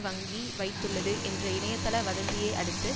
வங்கி வைத்துள்ளது என்ற இணையத்தள வதந்தியை அடுத்து